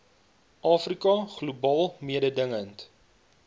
afrika globaal mededingend